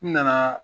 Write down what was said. N nana